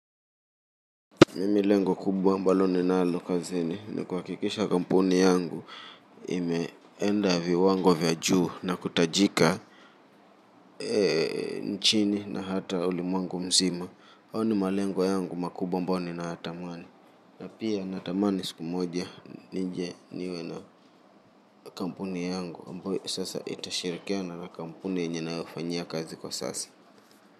Mimi lengo kubwa ambalo ninalokazini ni kuhakikisha kampuni yangu imeenda viwango vya juu na kutajika eee nchini na hata ulimwengu mzima. Hayo ni malengo yangu makubwa ambayo niyatamani. Na pia natamani siku moja nije niwe na kampuni yangu ambayo sasa itashirikiana na kampuni nyenye ninayofanyia kazi kwa sasa.